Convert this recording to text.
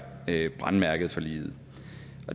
brændemærket for livet